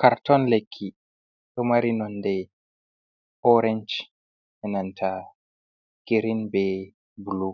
Karton lekki to mari nonɗe orance e'nanta girin bei bulu